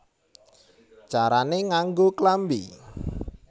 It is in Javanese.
Carané Nganggo Klambi